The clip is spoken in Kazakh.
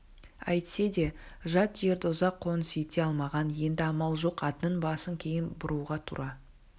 әйтсе де жат жерді ұзақ қоныс ете алмаған енді амал жоқ атының басын кейін бұруға тура